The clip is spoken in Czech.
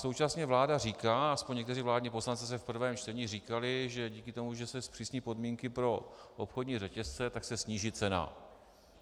Současně vláda říká, alespoň někteří vládní poslanci zde v prvém čtení říkali, že díky tomu, že se zpřísní podmínky pro obchodní řetězce, tak se sníží cena.